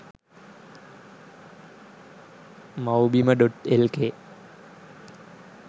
mawbima.lk